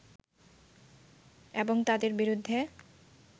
এবং তাদের বিরুদ্ধে